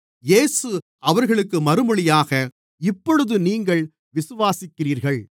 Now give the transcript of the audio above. இயேசு அவர்களுக்கு மறுமொழியாக இப்பொழுது நீங்கள் விசுவாசிக்கிறீர்கள்